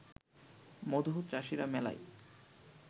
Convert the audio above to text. মধুচাষীরা মেলায়